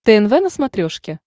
тнв на смотрешке